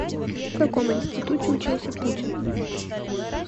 в каком институте учился путин